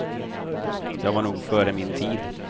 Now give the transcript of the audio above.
Jag var nog före min tid.